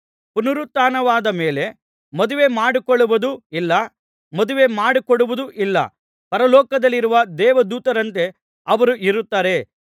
ಪುನರುತ್ಥಾನವಾದ ಮೇಲೆ ಮದುವೆಮಾಡಿಕೊಳ್ಳುವುದೂ ಇಲ್ಲ ಮದುವೆ ಮಾಡಿಕೊಡುವುದೂ ಇಲ್ಲ ಪರಲೋಕದಲ್ಲಿರುವ ದೇವದೂತರಂತೆ ಅವರು ಇರುತ್ತಾರೆ